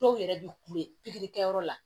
Dɔw yɛrɛ bɛ kule pikiri kɛyɔrɔ la